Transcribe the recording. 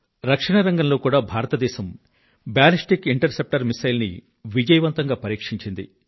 రక్షణ రంగంలో కూడా భారతదేశం బాలిస్టిక్ ఇంటర్ సెప్టర్ మిసైల్ ని విజయవంతంగా పరీక్షించింది